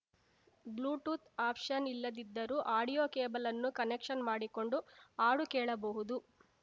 Bluetooth option ಇಲ್ಲದಿದ್ದರೂ audio ಕೇಬಲ್‌ನ್ನು connection ಮಾಡಿಕೊಂಡು ಹಾಡು ಕೇಳಬಹುದು